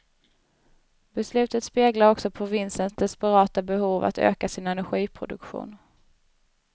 Beslutet speglar också provinsens desperata behov att öka sin energiproduktion.